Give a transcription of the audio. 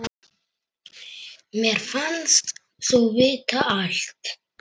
Mér fannst þú vita allt.